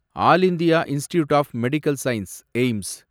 all India institute of medical science, AIIMS